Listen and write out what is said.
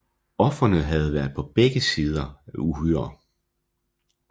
Ofrene havde på begge sider været uhyre